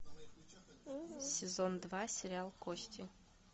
сезон два сериал кости